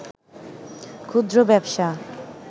ক্ষুদ্র ব্যবসা